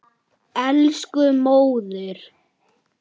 Elsku móðir.